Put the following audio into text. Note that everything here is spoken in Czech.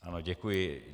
Ano, děkuji.